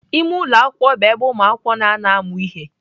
Ime ụlọ akwụkwọ bụ ebe ụmụakwụkwọ na-anọ amụ ihe.